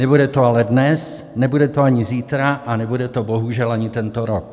Nebude to ale dnes, nebude to ani zítra a nebude to bohužel ani tento rok.